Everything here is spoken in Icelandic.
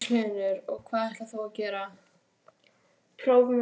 Magnús Hlynur: Og hvað ætlar þú að gera?